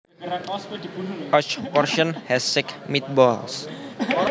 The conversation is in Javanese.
Each portion has six meatballs